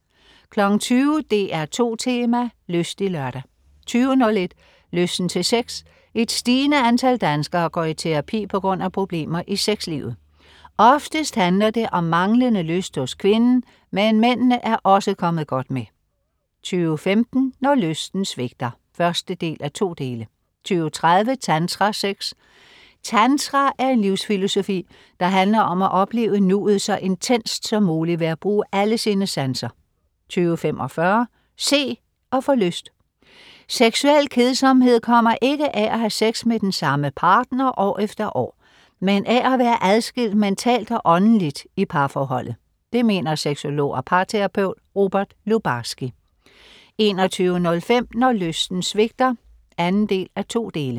20.00 DR2 Tema: Lystig Lørdag 20.01 Lysten til sex. Et stigende antal danskere går i terapi på grund af problemer i sexlivet. Oftest handler det om manglende lyst hos kvinden, men mændene er også kommet godt med 20.15 Når lysten svigter 1:2 20.30 Tantrasex. Tantra er en livsfilosofi, der handler om at opleve nuet så intenst som muligt ved at bruge alle sine sanser 20.45 Se. Og få lyst! Seksuel kedsomhed kommer ikke af at have sex med den samme partner år efter år, men af at være adskilt mentalt og åndeligt i parforholdet. Det mener sexolog og parterapeut Robert Lubarski 21.05 Når lysten svigter 2:2